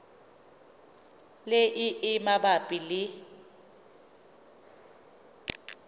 le e e mabapi le